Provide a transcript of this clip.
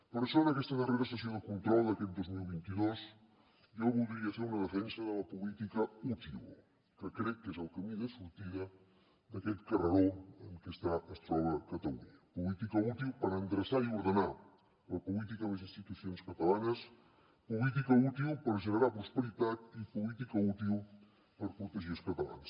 per això en aquesta darrera sessió de control d’aquest dos mil vint dos jo voldria fer una defensa de la política útil que crec que és el camí de sortida d’aquest carreró en què es troba catalunya política útil per endreçar i ordenar la política i les institucions catalanes política útil per generar prosperitat i política útil per protegir els catalans